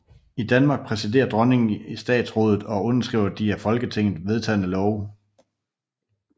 I Danmark præsiderer dronningen i Statsrådet og underskriver de af Folketinget vedtagne love